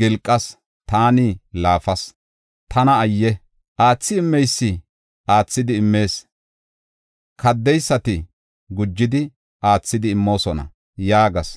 gilqas! Taani laafas! Tana ayye! Aathi immeysi aathidi immees; kaddeysati gujidi aathidi immoosona” yaagas.